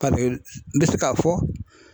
n bɛ se k'a fɔ.